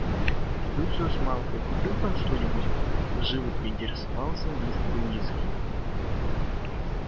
люциус малфой купил там что-нибудь живо поинтересовался мистер уизли